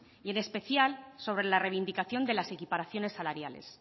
y en especial sobre la reivindicación de las equiparaciones salariales